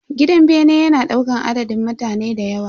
Gidan bene yana daukan adadin mutane dayawa.